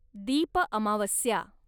दीप अमावस्या